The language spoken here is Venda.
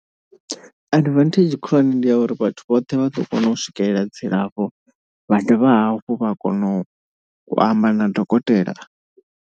Advantage khulwane ndi ya uri vhathu vhoṱhe vha ḓo kona u swikelela dzilafho, vha dovha hafhu vha kona u amba na dokotela.